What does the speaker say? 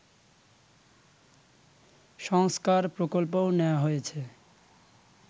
সংস্কার প্রকল্পও নেয়া হয়েছে